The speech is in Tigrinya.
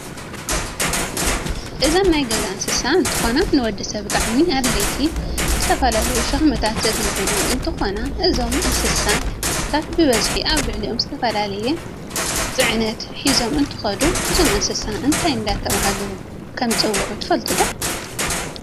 እዚን ናይ ገዛ እ ንስሳ እንትኮና ንወድሰብ ብጣዓሚኣድለይቲ ንዝተፈላለዩሽክምታት ዘግልግሉ እንትከኖ እዞም እንስሳታብ ብበዝሕ ኣብ ልዕሊኦዝተፈላለየ ፅዕነት ሕዞም እንትከዱ እዞም እንስሳ እንታ እደተበሃሉ ይፅውዕ ትፍልጥዶ ?